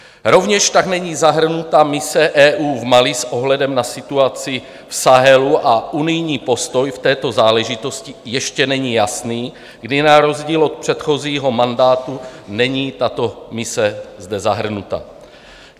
Rovněž tak není zahrnuta mise EU v Mali s ohledem na situaci v Sahelu a unijní postoj v této záležitosti ještě není jasný, kdy na rozdíl od předchozího mandátu není tato mise zde zahrnuta.